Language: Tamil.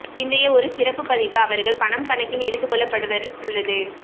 பிந்தைய ஒரு சிறப்பு பதிவு அவர்கள் பணம் கணக்கில் எடுத்துக் கொள்ளப்படுவர் உள்ளது